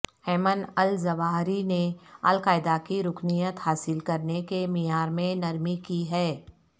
Aiman al Zawahiri نے al Qaeda کی رکینت حاصل کرنے کے معیار میں نرمی کی ہے